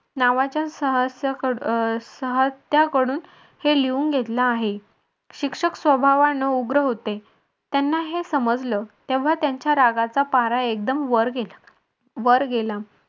नावाच्या सह्स्य सह्स्त्याकडून हे लिहून घेतलं आहे. शिक्षक स्वभावानं उग्र होते. त्यांना हे समजलं. तेव्हा त्यांच्या रागाचा पारा एकदम वर वर गेला.